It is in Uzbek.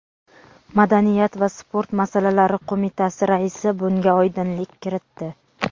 madaniyat va sport masalalari qo‘mitasi raisi bunga oydinlik kiritdi.